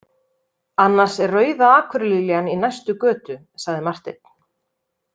Annars er Rauða akurliljan í næstu götu, sagði Marteinn.